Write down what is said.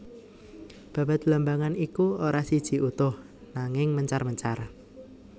Babad blambangan iku ora siji utuh nangin mencar mencar